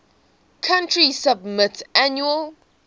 country submit annual